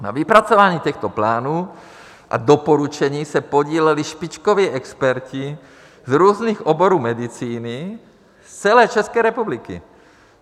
Na vypracování těchto plánů a doporučení se podíleli špičkoví experti z různých oborů medicíny z celé České republiky.